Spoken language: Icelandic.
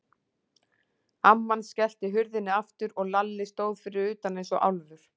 Amman skellti hurðinni aftur og Lalli stóð fyrir utan eins og álfur.